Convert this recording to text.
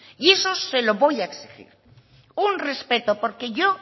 y eso se lo voy a exigir un respeto porque yo